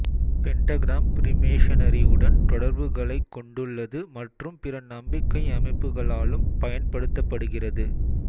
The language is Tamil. பெண்டகிராம் ஃப்ரீமேஷனரி உடன் தொடர்புகளைக் கொண்டுள்ளது மற்றும் பிற நம்பிக்கை அமைப்புகளாலும் பயன்படுத்தப்படுகிறது